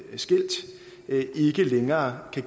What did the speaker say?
længere kan